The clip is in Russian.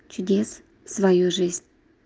чудес свою жизнь